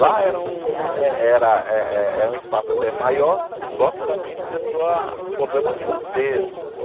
Lá era um eh era eh eh um espaço até maior, só que também começou a problema financeiro.